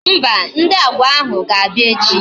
Mba, Ndị Agwa ahụ ga-abịa echi